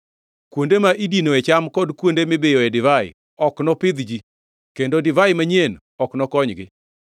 Kuonde ma idinoe cham kod kuonde mibiyoe divai ok nopidh ji; kendo divai manyien ok nokonygi.